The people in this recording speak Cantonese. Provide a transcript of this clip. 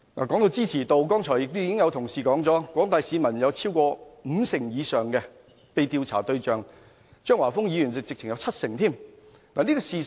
在支持度方面，剛才已有同事說過，在廣大市民中，五成以上受訪者支持這個方案，張華峰議員更說有七成支持度。